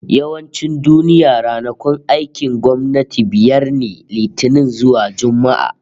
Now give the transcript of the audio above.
Yawancin duniya, ranakun aikin gwamnati biyar ne, Litinin zuwa Juma'a